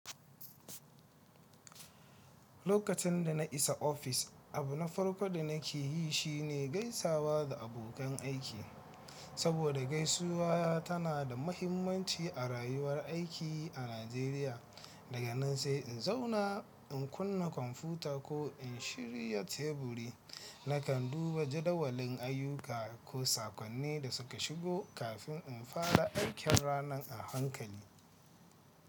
Lokacin da na isa ofis, abu na farko da nake yi shi ne gaisawa da abokan aiki, saboda gaisuwa tana da mahimmanci a rayuwar aiki a Najeriya. Daga nan sai in zauna, in kunna kwamfuta ko in shirya teburi. Nakan duba jadawalin ayyuka ko sakonni da suka shigo kafin in fara aikin ranan a hankali.